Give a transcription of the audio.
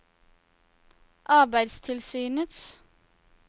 arbeidstilsynets